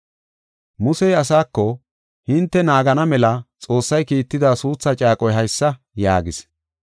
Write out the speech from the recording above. Musey asaako, “Hinte naagana mela Xoossay kiitida suutha caaqoy haysa” yaagis.